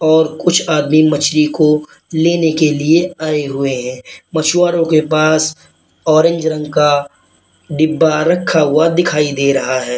और कुछ आदमी मछली को लेने के लिए आए हुए हैं मछुआरों के पास ऑरेंज रंग का डिब्बा रखा हुआ दिखाई दे रहा है।